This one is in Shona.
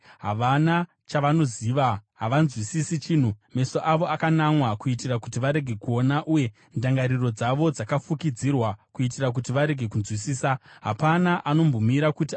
Havana chavanoziva, havanzwisisi chinhu, meso avo akanamwa kuitira kuti varege kuona, uye ndangariro dzavo dzakafukidzirwa kuitira kuti varege kunzwisisa. Hapana anombomira kuti afunge,